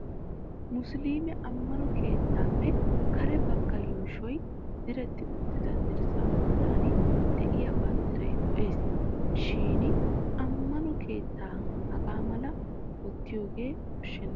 Musiliime ammano keettaappe kare bagga yuushoy diretti uttida dirssaa bolli diya banddiray lo'es. Shin ammano keettan hagaa malaba wottiyoogan koshshenna.